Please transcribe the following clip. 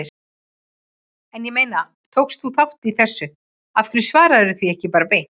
En ég meina, tókst þú þátt í þessu, af hverju svararðu því ekki bara beint?